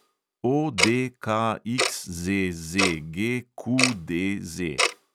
ODKXZZGQDZ